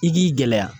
I k'i gɛlɛya